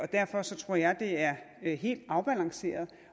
derfor tror jeg det er helt afbalanceret